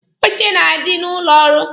Oche na-adị n'ụlọ ọrụ.